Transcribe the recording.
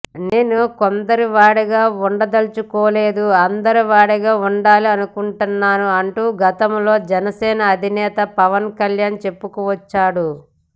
నేను కొందరివాడిగా ఉండదలుచుకోలేదు అందరివాడిగా ఉండాలి అనుకుంటున్నాను అంటూ గతంలో జనసేన అధినేత పవన్ కళ్యాణ్ చెప్పుకొచ్చాడు